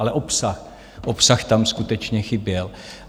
Ale obsah - obsah tam skutečně chyběl.